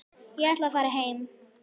Ég ætla að fara heim.